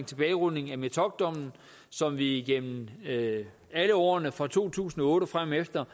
tilbagerulning af metockdommen som vi igennem alle årene fra to tusind og otte og fremefter